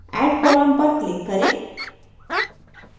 add column पर click करें